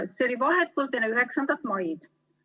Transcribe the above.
See oli vahetult enne 9. maid.